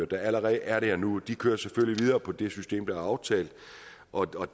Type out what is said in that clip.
der allerede er der nu for de kører selvfølgelig videre på det system der er aftalt og